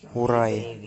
урае